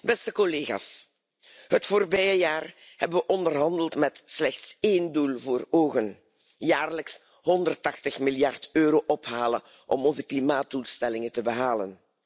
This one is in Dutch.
Beste collega's, het voorbije jaar hebben we onderhandeld met slechts één doel voor ogen jaarlijks 180 miljard euro ophalen om onze klimaatdoelstellingen te behalen.